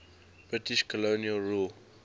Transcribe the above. british colonial rule